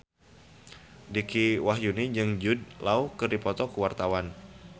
Dicky Wahyudi jeung Jude Law keur dipoto ku wartawan